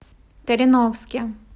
кореновске